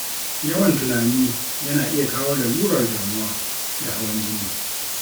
Yawan tunani yana iya kawo lalurar damuwa da hawan jini